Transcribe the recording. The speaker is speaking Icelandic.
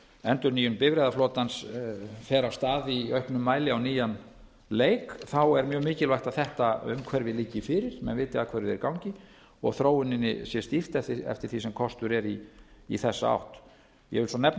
endurnýjun bifreiðaflotans fer af stað í auknum mæli á nýjan leik er mjög mikilvægt að þetta umhverfi liggi fyrir menn viti að hverju þeir ganga og þróuninni sé stýrt eftir því sem kostur er í þessa átt ég vil svo nefna